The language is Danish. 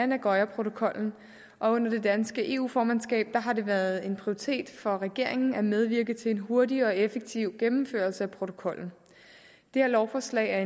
nagoyaprotokollen og under det danske eu formandskab har det været en prioritet for regeringen at medvirke til en hurtig og effektiv gennemførelse af protokollen det her lovforslag